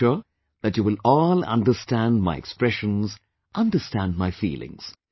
But I am sure that you all will understand my expressions, understand my feelings